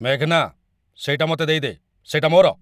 ମେଘନା, ସେଇଟା ମତେ ଦେଇଦେ। ସେଇଟା ମୋର!